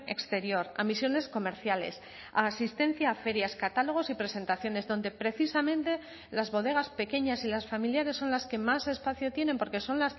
exterior a misiones comerciales a asistencia a ferias catálogos y presentaciones donde precisamente las bodegas pequeñas y las familiares son las que más espacio tienen porque son